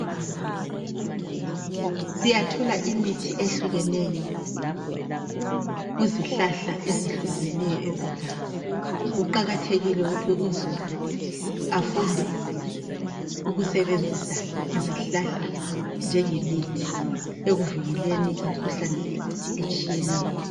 Siyathola imithi ehlukeneyo kuzihlahka ezihlukeneyo ezeganga. Kuqakathekile ukuthi uzulu afunde ukusebenzisa izihlahla njengemithi ekuvikeleni imikhuhlane etshiyeneyo.